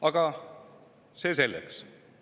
Aga see selleks.